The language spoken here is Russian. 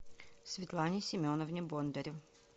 светлане семеновне бондарю